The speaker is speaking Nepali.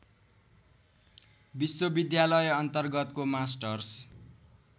विश्वविद्यालय अन्तर्गतको मास्टर्स